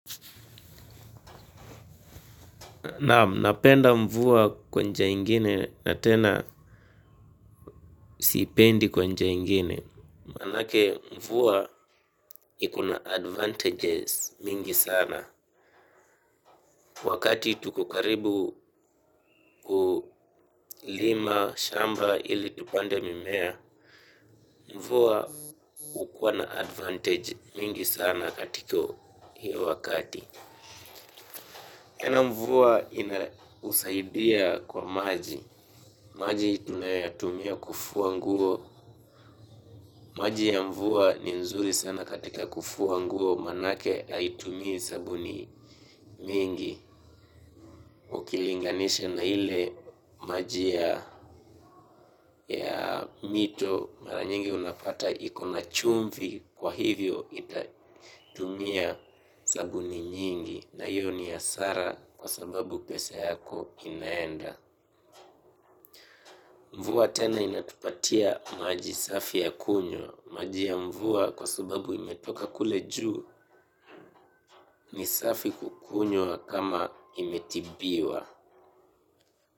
Napenda mvua kwa njia ingine na tena sipendi kwa njia ingine. Manake mvua ikona advantages mingi sana. Wakati tuko karibu kulima shamba ili tupande mimea, mvua ukuwa na advantage mingi sana katiko hiyo wakati. Tena mvua inausaidia kwa maji. Maji tunayoyatumia kufua nguo. Maji ya mvua ni nzuri sana katika kufua nguo manake haitumii sabuni mingi. Ukilinganisha na ile maji ya mito mara nyingi unapata ikona chumvi kwa hivyo itatumia sabuni mingi na hiyo ni hasara kwa sababu pesa yako inaenda. Mvua tena inatupatia maji safi ya kunywa. Maji ya mvua kwa sababu imetoka kule juu ni safi kukunywa kama imetibiwa.